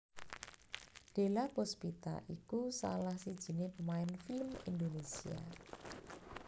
Della Puspita iku salah sijiné pemain film Indonesia